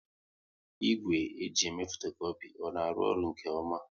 Igwe e ji eme fotokopi ọ na arụ ọrụ nke ọma?